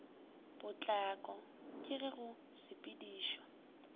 potlako ke ge go sepedišwa